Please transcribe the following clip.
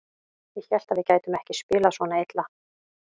Ég hélt að við gætum ekki spilað svona illa.